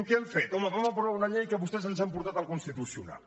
què han fet home vam aprovar una llei que vostès ens han portat al constitucional